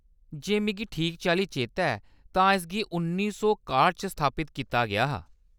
जे मिगी ठीक चाल्ली चेता ऐ तां इसगी उ'न्नी सौ काह्ट च स्थापत कीता गेआ हा।